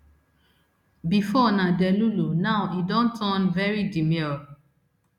bifor na delulu now e don turn very demure